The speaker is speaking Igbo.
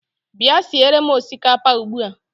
Bịa siere m osikapa ugbua!